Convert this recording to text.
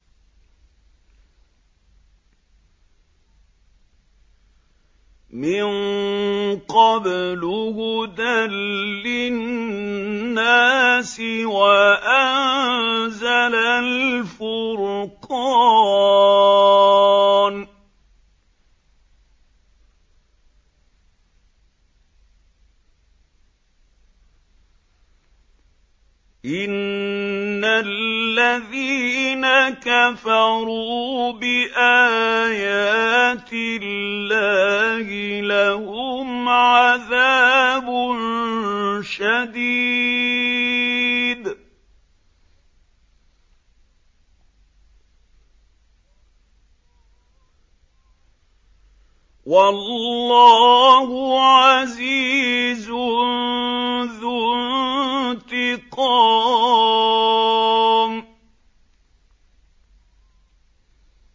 مِن قَبْلُ هُدًى لِّلنَّاسِ وَأَنزَلَ الْفُرْقَانَ ۗ إِنَّ الَّذِينَ كَفَرُوا بِآيَاتِ اللَّهِ لَهُمْ عَذَابٌ شَدِيدٌ ۗ وَاللَّهُ عَزِيزٌ ذُو انتِقَامٍ